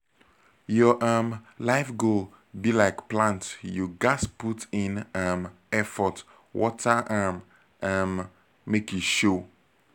your um life goal be like plant you ghas put in um effort water am um make e show